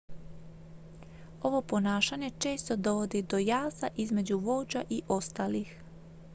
ovo ponašanje često dovodi do jaza između vođa i ostalih